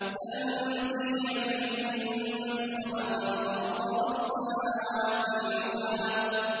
تَنزِيلًا مِّمَّنْ خَلَقَ الْأَرْضَ وَالسَّمَاوَاتِ الْعُلَى